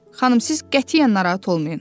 Xanım, siz qətiyyən narahat olmayın.